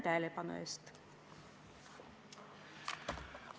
Tänan tähelepanu eest!